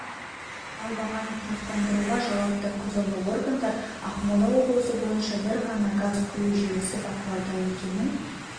ал бағаны тұрақтандыруға жауапты құзырлы органдар ақмола облысы бойынша бір ғана газ құю желісі бақылауда екенін